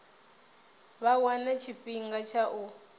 vha wane tshifhinga tsha u